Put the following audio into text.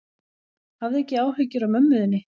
Hafðu ekki áhyggjur af mömmu þinni.